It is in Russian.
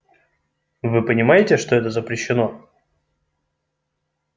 вы понимаете что это запрещено